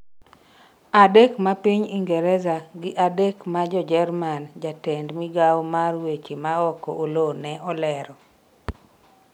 adek ma piny Ingreza gi adek ma Jo jerman, jatend migawo mar weche maoko Oloo ne olero